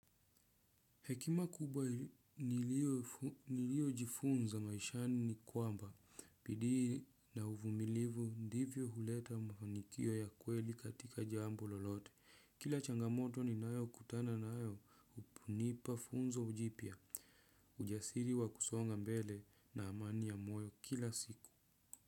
Hekima kubwa nilio jifunza maishani ni kwamba bidii na uvumilivu ndivyo huleta mafanikio ya kweli katika jambo lolote. Kila changamoto ni nayo kutana nayo hunipa funzo jipya. Ujasiri wa kusonga mbele na amani ya moyo kila siku.